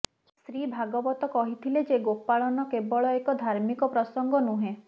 ଶ୍ରୀ ଭାଗବତ କହିଥିଲେ ଯେ ଗୋପାଳନ କେବଳ ଏକ ଧାର୍ମିକ ପ୍ରସଙ୍ଗ ନୁହେଁ